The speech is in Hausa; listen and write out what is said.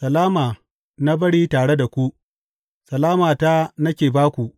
Salama na bari tare da ku; salamata nake ba ku.